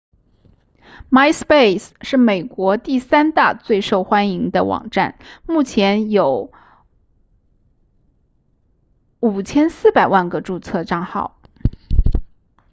myspace 是美国第三大最受欢迎的网站目前有 5,400 万个注册帐号